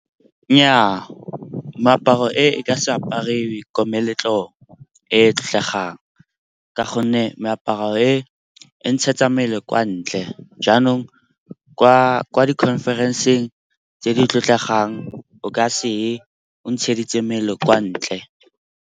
Nnyaa, meaparo e ka se apariwe ko meletlong e e tlotlegang ka gonne meaparo e, e ntshetsa mmele kwa ntle. Jaanong ko di-conference-ng tse di tlotlegang o ka se ye o ntsheditse mmele kwa ntle.